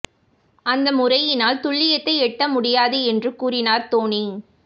அந்த முறையினால் துல்லியத்தை எட்ட முடியாது என்று கூறினார் தோனி